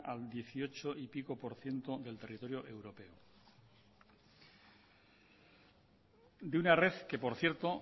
al dieciocho y pico por ciento del territorio europeo de una red que por cierto